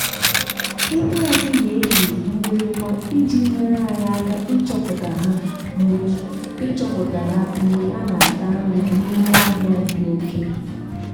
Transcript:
ehi anyị na-eyi mgbịrịgba iji nyere anyị aka ịchọpụta ha mgbe ịchọpụta ha mgbe ha na-ata nri n’ime ọhịa dị oke.